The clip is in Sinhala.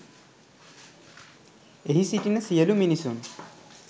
එහි සිටින සියලු මිනිසුන්